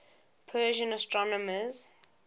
persian astronomers